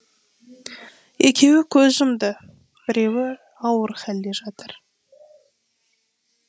екеуі көз жұмды біреуі ауыр халде жатыр